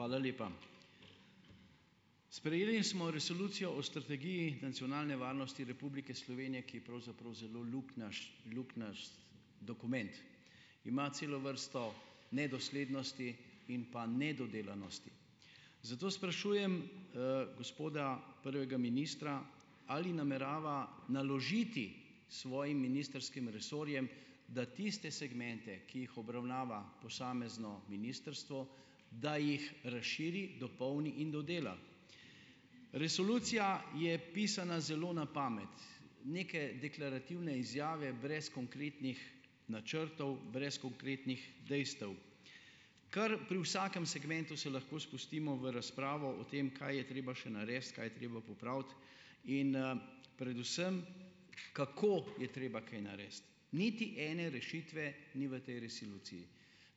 Hvala lepa. Sprejeli smo Resolucijo o strategiji nacionalne varnosti Republike Slovenije, ki je pravzaprav zelo luknjast dokument. Ima celo vrsto nedoslednosti in pa nedodelanosti. Zato sprašujem, gospoda prvega ministra, ali namerava naložiti svojim ministrskim resorjem, da tiste segmente, ki jih obravnava posamezno ministrstvo, da jih razširi, dopolni in dodela? Resolucija je pisana zelo na pamet. Neke deklarativne izjave brez konkretnih načrtov, brez konkretnih dejstev. Kar pri vsakem segmentu se lahko spustimo v razpravo o tem, kaj je treba še narediti, kaj je treba popraviti in, predvsem, kako je treba kaj narediti. Niti ene rešitve ni v tej resoluciji.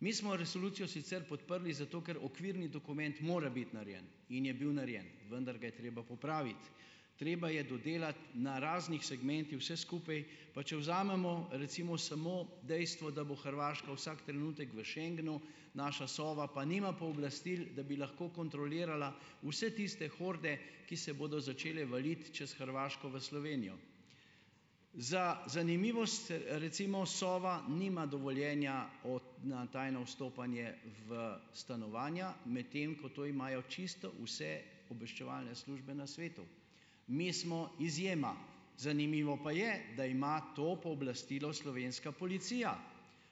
Mi smo resolucijo sicer podprli zato, ker okvirni dokument mora biti narejen in je bil narejen, vendar ga je treba popraviti. Treba je dodelati na raznih vse skupaj, pa če vzamemo recimo samo dejstvo, da bo Hrvaška vsak trenutek v schengnu, naša Sova pa nima pooblastil, da bi lahko kontrolirala vse tiste horde, ki se bodo začele valiti čez Hrvaško v Slovenijo. Za zanimivost, recimo Sova nima dovoljenja od na tajno vstopanje v stanovanja, medtem ko to imajo čisto vse obveščevalne službe na svetu. Mi smo izjema. Zanimivo pa je, da ima to pooblastilo slovenska policija.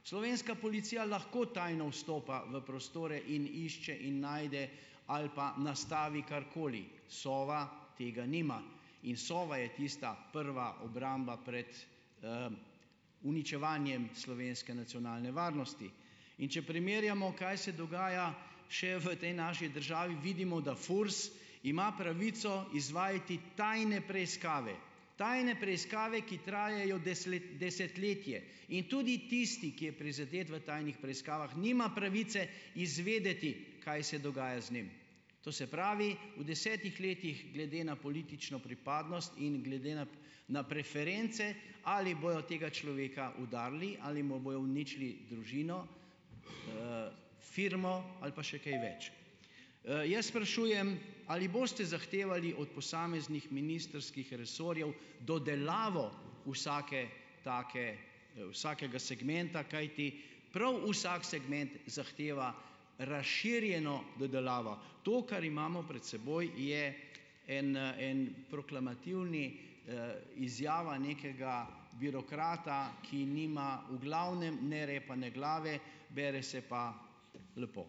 Slovenska policija lahko tajno vstopa v prostore in išče in najde ali pa nastavi karkoli. Sova tega nima in Sova je tista prva obramba pred, uničevanjem slovenske nacionalne varnosti. In če primerjamo, kaj se dogaja, še v tej naši državi vidimo, da FURS ima pravico izvajati tajne preiskave, tajne preiskave, ki trajajo desetletje in tudi tisti, ki je prizadet, v tajnih preiskavah nima pravice izvedeti, kaj se dogaja z njim to se pravi, v desetih letih glede na politično pripadnost in glede nap na preference, ali bojo tega človeka udarili ali mu bojo uničili družino, firmo ali pa še kaj več . Jaz sprašujem, ali boste zahtevali od posameznih ministrskih resorjev dodelavo vsake take, vsakega segmenta, kajti prav vsak segment zahteva razširjeno dodelavo. To, kar imamo pred seboj, je en, ena proklamativna, izjava nekega birokrata, ki nima v glavnem ne repa ne glave, bere se pa lepo.